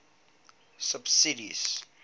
subsidies